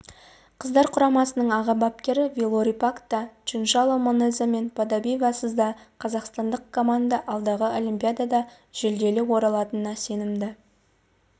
қыздар құрамасының аға бапкері вилорий пак та чиншанло манеза мен подобедовасыз да қазақстандық команда алдағы олимпиадада жүлделі оралатынына сенімді